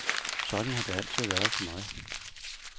Sådan har det altid været for mig.